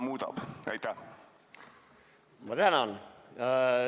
Ma tänan!